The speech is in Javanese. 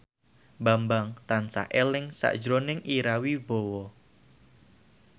Bambang tansah eling sakjroning Ira Wibowo